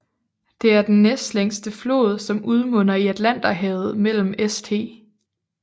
Det er den næstlængste flod som udmunder i Atlanterhavet mellem St